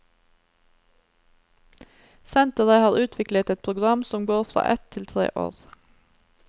Senteret har utviklet et program som går fra ett til tre år.